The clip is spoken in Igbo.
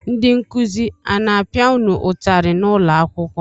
Ndị nkụzi a na-apịa unu ụtarị n'ụlọakwụkwọ?